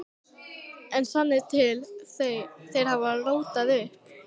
En sannið til: Þeir hafa rótað upp.